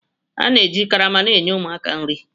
A na-eji karama na-enye ụmụaka nri.